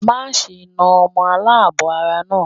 Má ṣe na ọmọ aláàbọ̀ ara náà.